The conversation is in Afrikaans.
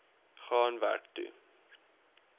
gaan werk toe